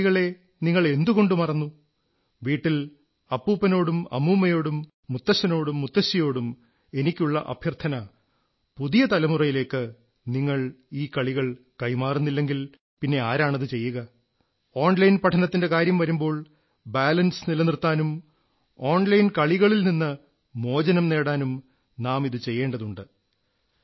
ആ കളികളെ നിങ്ങളെ എന്തുകൊണ്ടു മറന്നു വീട്ടിലെ അപ്പൂപ്പനോടും അമ്മൂമ്മയോടും മുത്തച്ഛനോടും മുത്തശ്ശിയോടും എനിക്കുള്ള അഭ്യർത്ഥന പുതിയ തലമുറയിലേക്ക് നിങ്ങൾ ഈ കളികൾ കൈമാറുന്നില്ലെങ്കിൽ പിന്നെ ആരാണത് ചെയ്യുക ഓൺലൈൻ പഠനത്തിന്റെ കാര്യം വരുമ്പോൾ ബാലൻസ് നിലനിർത്താനും ഓൺലൈൻ കളികളിൽ നിന്ന് മോചനം നേടാനും നാം ഇതു ചെയ്യേണ്ടതുണ്ട്